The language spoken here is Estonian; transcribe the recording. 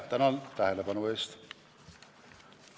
Tänan tähelepanu eest!